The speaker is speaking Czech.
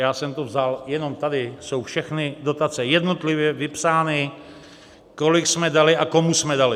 Já jsem to vzal, jenom tady jsou všechny dotace jednotlivě vypsány, kolik jsme dali a komu jsme dali.